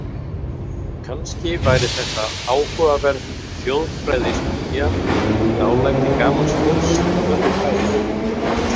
Kannski væri þetta áhugaverð þjóðfræðistúdía: dálæti gamals fólks á þurru fæði.